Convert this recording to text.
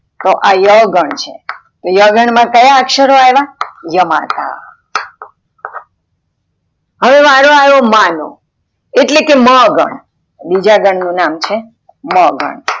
તો આ ય ગણ છે, યાગન માં કયા અક્ષરો આવ્યા ય માતા, હવે વારો આવ્યો માં નો એટલે કે મ ગણ, બીજા ગણ નું નામ છે મ ગણ.